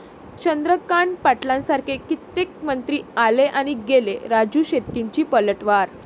चंद्रकांत पाटलांसारखे कित्येक मंत्री आले आणि गेले, राजू शेट्टींची पलटवार